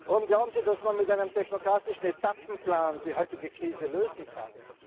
Warum glauben Sie, dass man mit einem technokratischen Etappenplan die heutige Krise lösen kann?